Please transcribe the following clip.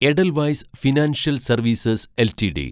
Edelweiss financial services LTD